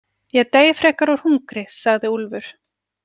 Ég dey frekar úr hungri, sagði Úlfur.